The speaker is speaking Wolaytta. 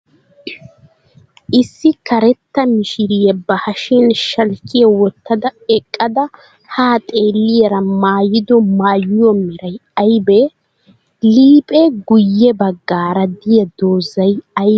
Issi karetta mishiriya ba hashiyan shalkkiya wottada eqqada haa xeelliyaara mayyido mayyuwa meray ayibee? Iippe guyye baggaara diya dozzay aybee?